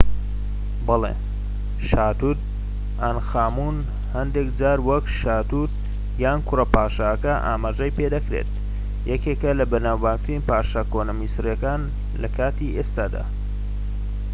بەڵێ شا توت ئانخامون هەندێك جار وەک شا توت یان کوڕە پادشاکە ئاماژەی پێدەکرێت یەکێکە لە بەناوبانگترین پادشا کۆنە میسریەکان لە کاتی ئێستادا